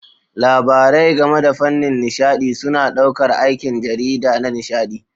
Labarai game da fannin nishaɗi suna ɗaukar aikin jarida na nishaɗi.